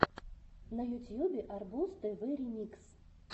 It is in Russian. на ютьюбе арбуз тв ремикс